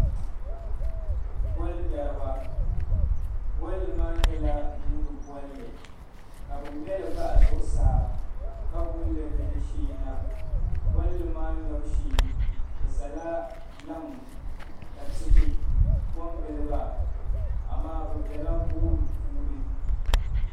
Bolli ŋmari ba bolli maa nyɛla nuuni bolli kabi ŋme li bahi zuɣusaa ka gulili ni di shee na bolli maa ŋmebu shee bi sala laŋ ka tihi ko n gili ba amaa bi bɛla gooni puuni